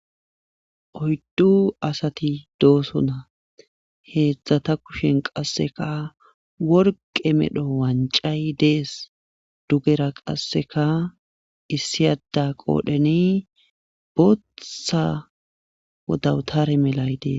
Oyddu asati doosona. Heedzdzata kushen qassekka worqqe medho wanccay dees. Dugera qassekka issi adda qodheni booththa dawutare melay dees.